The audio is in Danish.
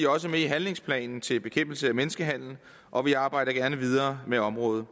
også med i handlingsplanen til bekæmpelse af menneskehandel og vi arbejder gerne videre med området